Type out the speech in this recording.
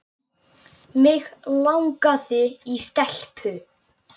Hafdís Mjöll, Róbert og börn.